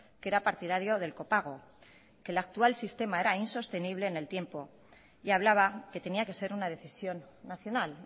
que era partidario del copago que el actual sistema era insostenible en el tiempo y hablaba que tenía que ser una decisión nacional